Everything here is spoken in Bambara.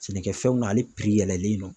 Sɛnɛkɛfɛnw ale piri yɛlɛlen don